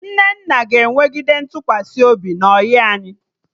Nnenna ga-enwegide ntụkwasị obi na ọyị anyị